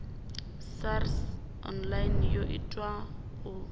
sars online yo itelwa u